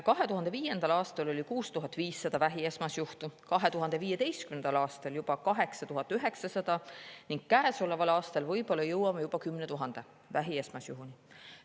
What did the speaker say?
2005. aastal oli 6500 vähi esmasjuhtu, 2015. aastal 8900 ning käesoleval aastal jõuame võib-olla juba 10 000 vähi esmasjuhuni.